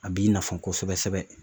A b'i nafa kosɛbɛ sɛbɛ